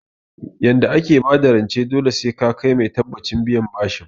Yanda ake bada rance dole ne sai ka kai mai tabbacin biyan bashi